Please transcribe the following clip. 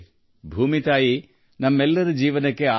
ಭೂಮಿ ತಾಯಿ ನಮ್ಮೆಲ್ಲರ ಜೀವನಕ್ಕೆ ಆಧಾರ